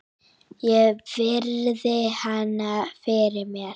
Ég virði hana fyrir mér.